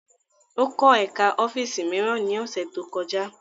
Ó kọ́ ẹ̀ká ọ́fíìsì mìíràn ní ọ̀sẹ̀ tó kọjá